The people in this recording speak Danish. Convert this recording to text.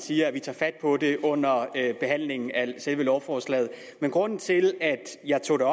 siger at vi tager fat på det under behandlingen af selve lovforslaget men grunden til at jeg tog det